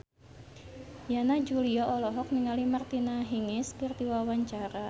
Yana Julio olohok ningali Martina Hingis keur diwawancara